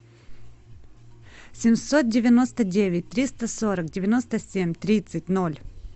семьсот девяносто девять триста сорок девяносто семь тридцать ноль